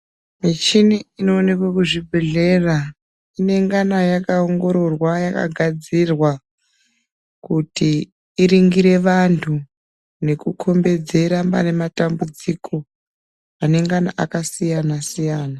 Michini inoshanda kuzvibhehlera inengena yakaongororwa yakagadzirwa kuti iringire vantu nekukombedzera pane matambudziko anengana akasiyana siyana.